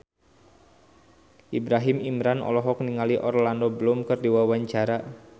Ibrahim Imran olohok ningali Orlando Bloom keur diwawancara